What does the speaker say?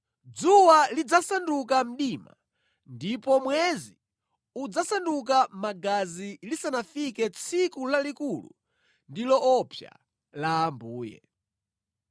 Dzuwa lidzadetsedwa ndipo mwezi udzaoneka ngati magazi lisanafike tsiku lalikulu ndi loopsa la Ambuye.